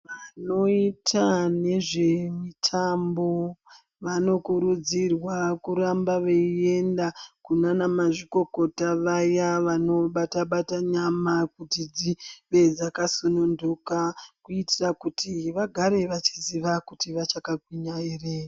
Vanoita nezvimitambo vanokurudzirwa kuramba veyienda kunana mazvikokota vaya vanobata bata nyama kuti dzinge dzakasundunuka kuitira kuti vagare veiziva kuti vakachagwinya ere.